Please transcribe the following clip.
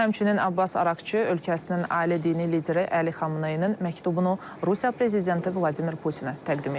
Həmçinin Abbas Araqçı ölkəsinin ali dini lideri Əli Xamneyinin məktubunu Rusiya prezidenti Vladimir Putinə təqdim eləyəcək.